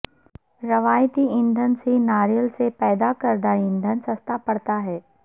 روائتی ایندھن سے ناریل سے پیدا کردہ ایندھن سستا پڑتا ہے